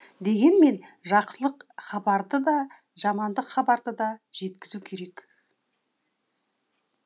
дегенмен жақсылық хабарды да жамандық хабарды да жеткізу керек